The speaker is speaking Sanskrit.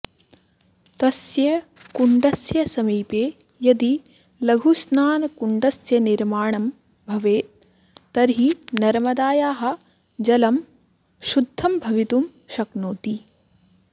तस्य कुण्डस्य समीपे यदि लघुस्नानकुण्डस्य निर्माणं भवेत् तर्हि नर्मदायाः जलं शुद्धं भवितुं शक्नोति